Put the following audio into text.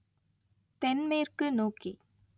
தென்மேற்கு நோக்கி